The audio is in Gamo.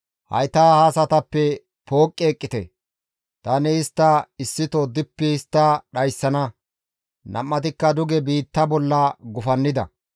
«Hayta ha asatappe pooqqi eqqite; tani istta issito dippi histta dhayssana!» Nam7atikka duge biitta bolla gufannida.